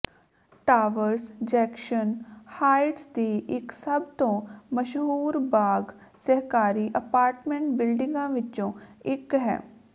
towers Jackson Heights ਦੀ ਇਕ ਸਭ ਤੋਂ ਮਸ਼ਹੂਰ ਬਾਗ ਸਹਿਕਾਰੀ ਅਪਾਰਟਮੈਂਟ ਬਿਲਡਿੰਗਾਂ ਵਿੱਚੋਂ ਇਕ ਹੈ